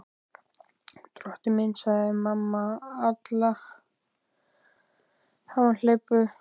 Drottinn minn, sagði mamma Alla hamhleypu.